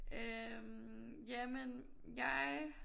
Øh jamen jeg